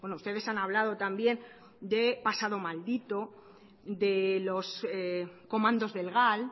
ustedes han hablado también de pasado maldito de los comandos del gal